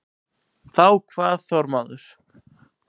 Þá kvað Þormóður